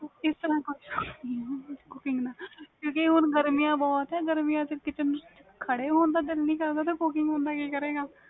ਕਿਉਕਿ ਹੁਣ ਗਰਮੀ ਬਹੁਤ ਵ kitchen ਚ ਖੜ੍ਹੇ ਹੋਣ ਦਾ ਦਿਲ ਨਹੀਂ ਕਰ ਦਾ cooking ਕਿ ਕਰੇਗਾ ਬੰਦਾ